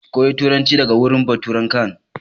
Ki koya turanci daga wurin baturan can!